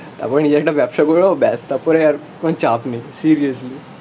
তারপর নিজে একটা ব্যবসা করে নেবো, ব্যাস, তারপরে আর কোন চাপ নেই, সিরিয়াসলি